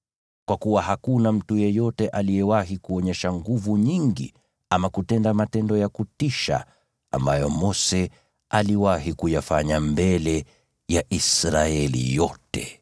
Kwa kuwa hakuna mtu yeyote aliyewahi kuonyesha nguvu nyingi ama kutenda matendo ya kutisha ambayo Mose aliwahi kuyafanya mbele ya Israeli yote.